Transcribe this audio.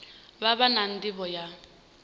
vha vha na nḓivho ya